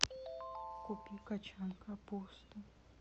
купи кочан капусты